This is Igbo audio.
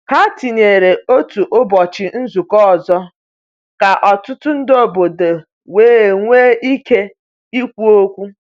Ha tinyere otu ụbọchị nzukọ ọzọ ka ọtụtụ ndị obodo wee nwee ike ikwu okwu.